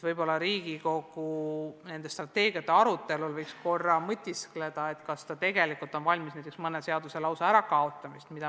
Võib-olla võiks Riigikogu nende strateegiate arutelul mõtiskleda korra selle üle, kas ta tegelikult on valmis mõne seaduse lausa ära kaotama.